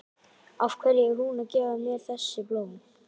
Af hverju er hún að gefa mér þessi blóm?